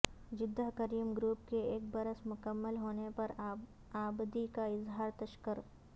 Jeddah carrom group کے ایک برس مکمل ہونے پر عابدی کا اظہار تشکر